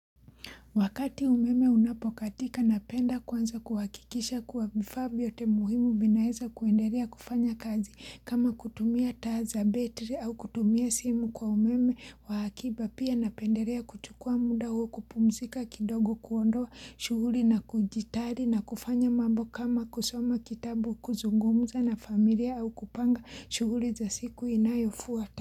Wakati umeme unapokatika napenda kwanza kuhakikisha kuwa vifaa vyote muhimu vinaweza kuendelea kufanya kazi kama kutumia taa betri au kutumia simu kwa umeme wa hakiba pia napendelea kuchukua muda huo kupumzika kidogo kuondoa shughuli na kujitari na kufanya mambo kama kusoma kitabu kuzungumuza na familia au kupanga shughuli za siku inayo fuata.